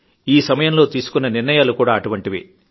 ఈ సమయంలో తీసుకున్న నిర్ణయాలు కూడా అటువంటివే